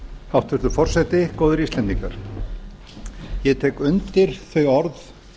hæstvirtur forseti góðir íslendingar ég tek undir þau orð